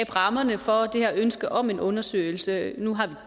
rammerne for det her ønske om en undersøgelse nu har vi